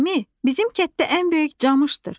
Əmi, bizim kətdə ən böyük camışdır.